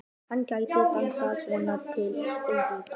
Hann gæti dansað svona til eilífðar.